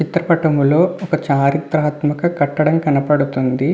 ఈ చిత్ర పాఠం లో ఒక చర్త్రతమనక కటడం కనబడుతూ వుంది.